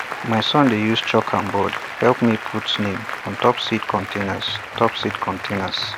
my son dey use chalk and board help me put name on top seed containers top seed containers